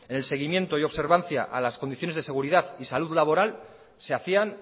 el seguimiento y observancia a las condiciones de seguridad y salud laboral se hacían